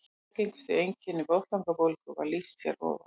Algengustu einkennum botnlangabólgu var lýst hér að ofan.